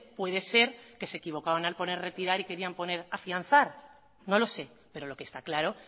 puede ser que se equivocaban a poner retirar y querían poner afianzar no lo sé pero lo que está claro